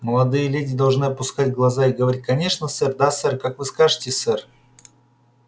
молодые леди должны опускать глаза и говорить конечно сэр да сэр как вы скажете сэр